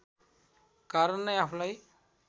कारण नै आफूलाई